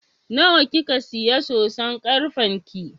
Nawa kika siya soson karfen ki?